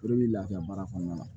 O de bi lafiya baara kɔnɔna na